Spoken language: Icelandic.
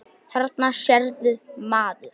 Þarna sérðu, maður.